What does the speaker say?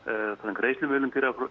greiðslumiðlun